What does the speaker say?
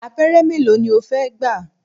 Abẹ́rẹ́ mélòó ni o fẹ́ gbà?